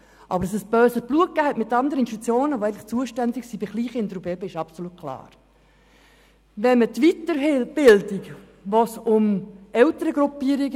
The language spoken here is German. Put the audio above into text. Aber, dass es bei andern Institutionen, die eigentlich für Kleinkinder und Bébés zuständig sind, böses Blut gab, ist klar.